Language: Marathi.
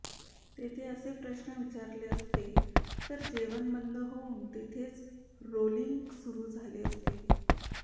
तेथे असे प्रश्न विचारले असते तर जेवण बंद होऊन तेथेच रोलिंग सुरू झाले असते